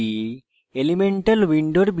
এখানে আমরা শিখেছি: